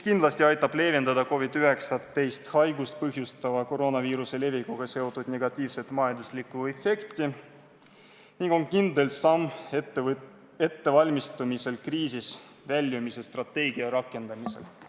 Kindlasti aitab see leevendada COVID-19 haigust põhjustava koroonaviiruse levikuga seotud negatiivset majanduslikku mõju ning on kindel samm, et valmistada ette kriisist väljumise strateegia rakendamist.